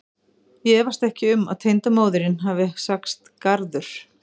Ég efast ekki um að tengdamóðirin hafi sagt garður.